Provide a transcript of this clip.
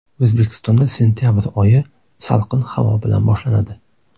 O‘zbekistonda sentabr oyi salqin havo bilan boshlanadi.